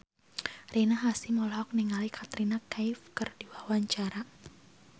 Rina Hasyim olohok ningali Katrina Kaif keur diwawancara